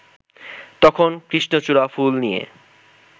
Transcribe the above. তখন কৃষ্ণচূড়া ফুল নিয়ে